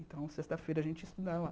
Então, sexta-feira a gente estudava lá.